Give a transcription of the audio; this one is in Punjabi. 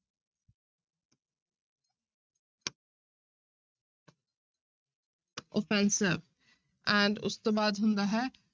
Offensive and ਉਸ ਤੋਂ ਬਾਅਦ ਹੁੰਦਾ ਹੈ,